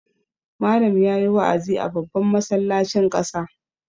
Malam ya yi wa'azi a babban masallacin ƙasa.